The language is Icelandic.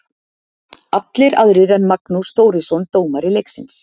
Allir aðrir en Magnús Þórisson, dómari leiksins.